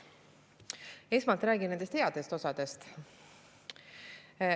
Esmalt räägin nendest headest osadest.